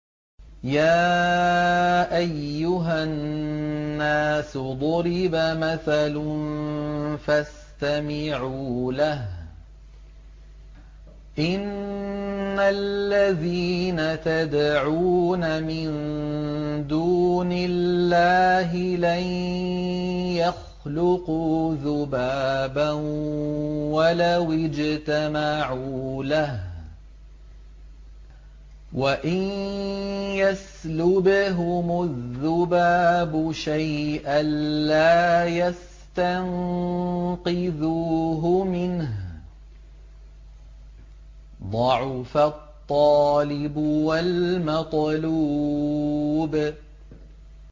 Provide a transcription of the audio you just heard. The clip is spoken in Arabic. يَا أَيُّهَا النَّاسُ ضُرِبَ مَثَلٌ فَاسْتَمِعُوا لَهُ ۚ إِنَّ الَّذِينَ تَدْعُونَ مِن دُونِ اللَّهِ لَن يَخْلُقُوا ذُبَابًا وَلَوِ اجْتَمَعُوا لَهُ ۖ وَإِن يَسْلُبْهُمُ الذُّبَابُ شَيْئًا لَّا يَسْتَنقِذُوهُ مِنْهُ ۚ ضَعُفَ الطَّالِبُ وَالْمَطْلُوبُ